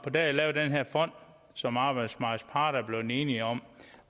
der er lavet den her fond som arbejdsmarkedets parter er blevet enige om